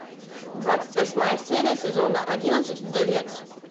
двадцать восьмая серия сезона одиннадцать вдовец